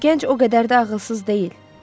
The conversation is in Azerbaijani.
Bu gənc o qədər də ağılsız deyil.